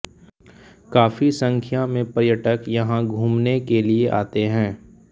काफी संख्या में पर्यटक यहां घूमने के लिए आते हैं